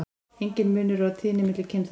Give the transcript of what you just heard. Enginn munur er á tíðni milli kynþátta.